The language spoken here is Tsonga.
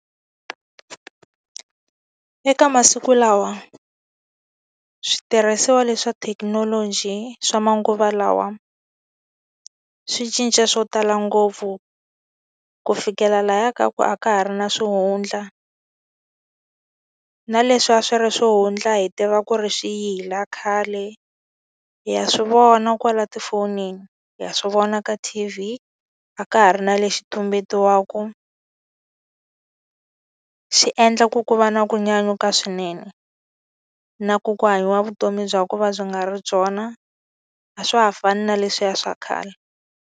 Eka masiku lawa switirhisiwa leswi swa thekinoloji swa manguva lawa, swi cinca swo tala ngopfu ku fikela lahaya ka ku a ka ha ri na swihundla. Na leswi a swi ri swihundla hi tiva ku ri swiyila khale, ha swi vona kwala tifonini, ha swi vona ka T_V. A ka ha ri na lexi tumbetiwaka. Swi endla ku ku va na ku nyanyuka swinene, na ku ku hanyiwa vutomi bya ku va byi nga ri byona. A swa ha fani na leswiya swa khale.